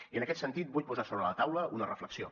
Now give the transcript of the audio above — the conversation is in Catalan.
i en aquest sentit vull posar sobre la taula una reflexió